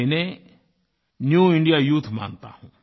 मैं इन्हें new India youth मानता हूँ